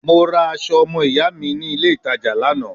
Mo ra aso omo iya mi ni ile itaja Lana